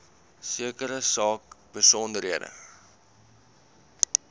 sekere saak besonderhede